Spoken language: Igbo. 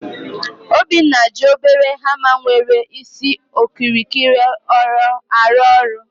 Obinna ji obere hama nwere isi okirikiri arụ ọrụ